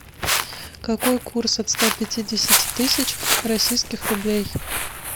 какой курс от ста пятидесяти тысяч российских рублей